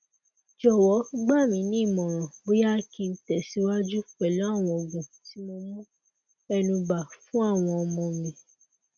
jowo gbaminimoran boya ki n tesiwaju pelu awon oogun ti mo mu enuba funawon omo mi